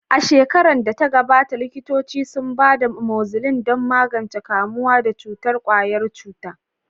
A shekarar da ta gabata, likitoci sun ba da amoxicillin don magance kamuwa da cutar ƙwayar cuta.